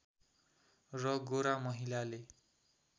र गोरा महिलाले